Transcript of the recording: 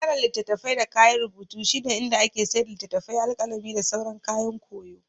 Ɓangaren litattafai da kayan rubutu shine inda ake sayar da littattafai, alƙalami, da sauran kayan koyo.